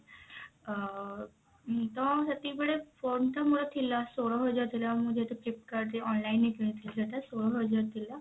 ଅ ତ ସେତିକି ବେଳେ phone ଟା ମୋର ଥିଲା ଷୋହଳ ହଜାର ଥିଲା ମୁଁ ଯେହେତୁ flipkart ରେ online ରେ କିଣିଥିଲି ସେଟା ଷୋହଳ ହଜାର ଥିଲା